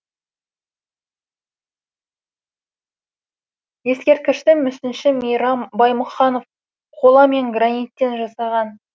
ескерткішті мүсінші мейрам баймұханов қола мен граниттен жасаған